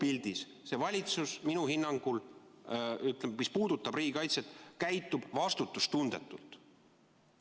] Kogupildis käitub see valitsus minu hinnangul, eriti selles, mis puudutab riigikaitset, vastutustundetult.